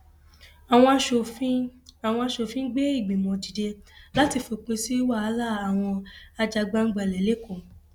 àwọn aṣòfin àwọn aṣòfin gbé ìgbìmọ dìde láti fòpin sí wàhálà àwọn ajàgbàǹgbàlẹ lẹkọọ